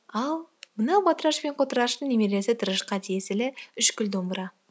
ал мынау батыраш пен қотыраштың немересі тырышқа тиесілі үшкіл домбыра